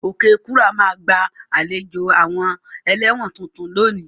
Okekura ma gba àlejò àwon eléwòn tuntun lónìí